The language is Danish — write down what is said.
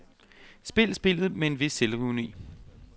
Spil spillet med en vis selvironi.